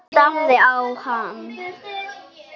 Hann starði á hann.